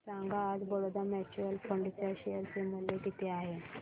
सांगा आज Baroda mutual fund च्या शेअर चे मूल्य किती आहे